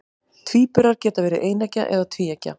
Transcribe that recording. Tvíburar geta verið eineggja eða tvíeggja.